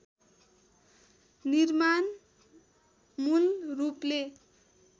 निर्माण मूल रूपले